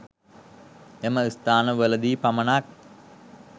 එම ස්ථාන වලදී පමණක්